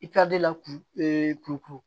I ka de kulukutu